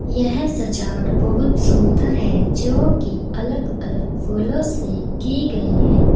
यह सजावट बहुत सुंदर है जो की अलग_अलग फूलों से की गई है।